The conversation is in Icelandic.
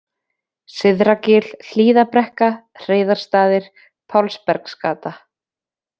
Syðra-Gil, Hlíðarbrekka, Hreiðarsstaðir, Pálsbergsgata